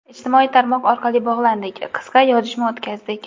Ijtimoiy tarmoq orqali bog‘landik, qisqa yozishma o‘tkazdik”.